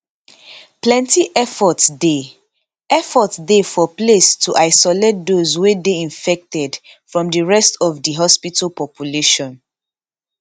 plenti effort dey effort dey for place to isolate those wey dey infected from di rest of di hospital population